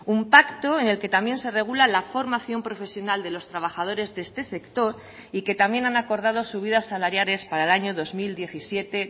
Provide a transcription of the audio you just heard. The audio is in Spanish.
un pacto en el que también se regula la formación profesional de los trabajadores de este sector y que también han acordado subidas salariales para el año dos mil diecisiete